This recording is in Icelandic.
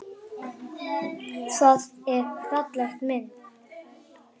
Það er falleg mynd.